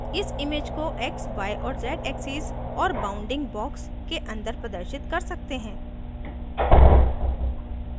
हम इमेज को x y और z axes और bounding box के अंदर प्रदर्शित कर सकते हैं